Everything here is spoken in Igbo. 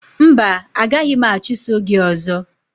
Mba, a gaghị m achụso gị ọzọ